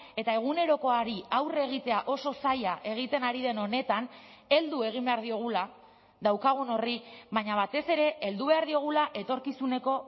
eta egunerokoari aurre egitea oso zaila egiten ari den honetan heldu egin behar diogula daukagun horri baina batez ere heldu behar diogula etorkizuneko